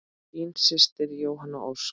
Þín systir Jóhanna Ósk.